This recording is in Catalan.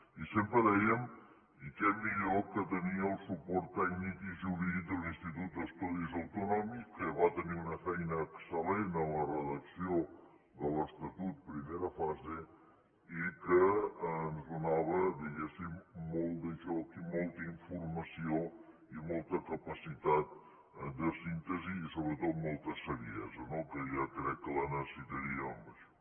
i sempre dèiem i què millor que tenir el suport tècnic i jurídic de l’institut d’estudis autonòmics que va tenir una feina excel·lent en la redacció de l’estatut primera fase i que ens donava diguéssim molt de joc i molta informació i molta capacitat de síntesi i sobretot molta saviesa no que jo crec que la necessitaríem en això